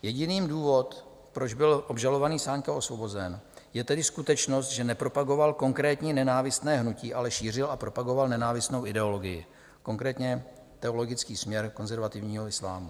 Jediný důvod, proč byl obžalovaný Sáňka osvobozen, je tedy skutečnost, že nepropagoval konkrétní nenávistné hnutí, ale šířil a propagoval nenávistnou ideologii, konkrétně teologický směr konzervativního islámu.